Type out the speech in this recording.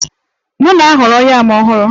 M na-ahọrọ yam ọhụrụ